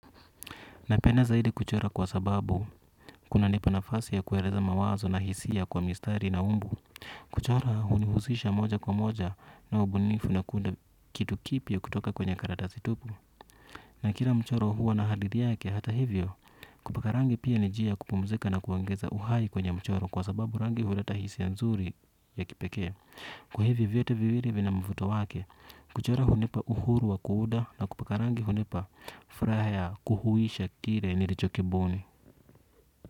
Napenda zaidi kuchora kwa sababu kuna nipa nafasi ya kueleza mawazo na hisia kwa mistari na umbu kuchora hunihusisha moja kwa moja na ubunifu na kuunda kitu kipya kutoka kwenye karatasi tupu na kila mchoro huwa na hadithi yake hata hivyo kupakarangi pia ni njia ya kupumzika na kuongeza uhai kwenye mchoro kwa sababu rangi huleta hisia nzuri ya kipekee kwa hivi vyote viwili vina mvuto wake kuchora hunipa uhuru wa kuunda na kupakarangi hunipa furaha ya kuhuisha kile nilichokibuni.